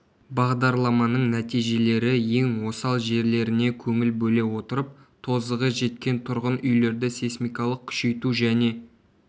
бағдарламаның нәтижелері ең осал жерлеріне көңіл бөле отырып тозығы жеткен тұрғын үйлерді сейсмикалық күшейту және